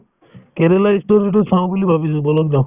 কেৰেলা ই story তো চাওঁ বুলি ভাবিছো বলক যাওঁ